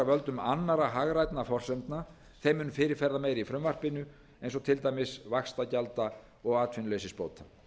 völdum annarra hagrænna forsendna þeim mun fyrirferðarmeiri í frumvarpinu eins og til dæmis vaxtagjalda og atvinnuleysisbóta